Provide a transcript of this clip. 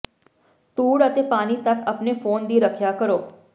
ਧੂੜ ਅਤੇ ਪਾਣੀ ਤੱਕ ਆਪਣੇ ਫੋਨ ਦੀ ਰੱਖਿਆ ਕਰੋ